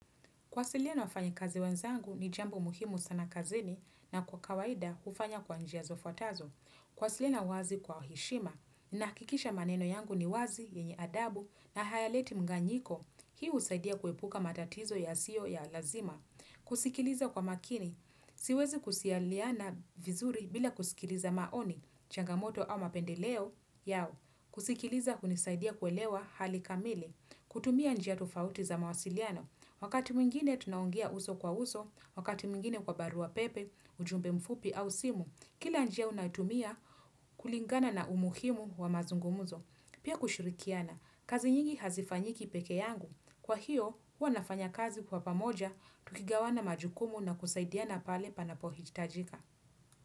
Kuwasiliana na wafanyikazi wenzangu ni jambo muhimu sana kazini na kwa kawaida, hufanya kwa njia zifuatazo. Kuwasiliana wazi kwa heshima, nahakikisha maneno yangu ni wazi, yenye adabu na hayaleti mganyiko. Hii husaidia kuepuka matatizo yasiyo ya lazima. Kusikiliza kwa makini, siwezi kusialiana vizuri bila kusikiliza maoni, changamoto au mapendeleo yao. Kusikiliza hunisaidia kuelewa hali kamili, kutumia njia tofauti za mawasiliano. Wakati mwingine tunaongea uso kwa uso, wakati mwingine kwa barua pepe, ujumbe mfupi au simu, kila njia unatumia kulingana na umuhimu wa mazungumuzo. Pia kushirikiana, kazi nyingi hazifanyiki peke yangu. Kwa hiyo, huwa nafanya kazi kwa pamoja, tukigawanya majukumu na kusaidiana pale panapohitajika.